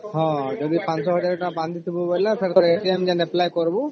ମହଁ ଯଦି ୫୦୦୧୦୦୦ ଟଙ୍କା ବାନ୍ଧି ଥିବୁ ବୋଲେ ଫେର apply କରିବୁ